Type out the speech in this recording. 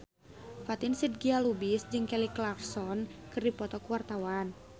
Fatin Shidqia Lubis jeung Kelly Clarkson keur dipoto ku wartawan